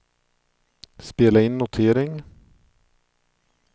spela in notering